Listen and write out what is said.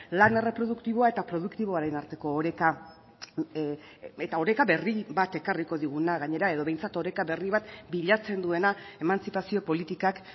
lan erreproduktiboa eta produktiboaren arteko oreka eta oreka berri bat ekarriko diguna gainera edo behintzat oreka berri bat bilatzen duena emantzipazio politikak